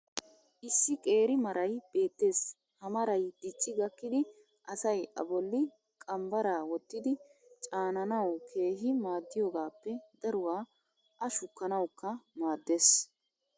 issi qeeri maray beetees. ha maray dicci gakkidi asay a boli qambbaraa wottidi caanannawu keehi maadiyoogaappe daruwaa a shukkanawukka maadees.